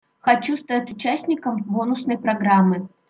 хочу стать участником бонусной программы